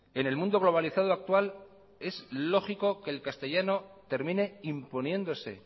en el mundo globalizado actual es lógico que el castellano termine imponiéndose